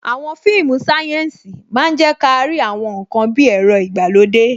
Àwọn fíìmù sayensi máa ń je kárí àwọn ǹkan bí ẹ̀rọ ìgbàlódé.